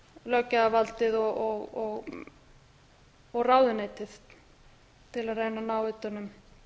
löggjafarvaldið og ráðuneytið til að reyna að ná utan um